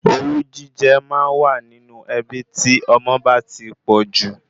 Owú jíjẹ máa wà nínú ẹbí tí ọmọ bá ti pọ̀jù